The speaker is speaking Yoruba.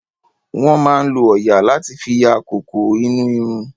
Wọ́n máa lo òòyà láti fi yọ¸kókó inú irun.